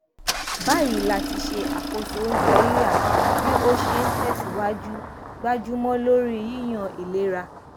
báyìí láti ṣe àkóso oúnjẹ rírà bí ó ṣe n tẹsìwájú gbájúmọ lórí yíyan ìlera